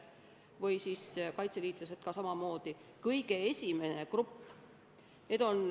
Samamoodi on ka kaitseliitlased kõige esimene grupp.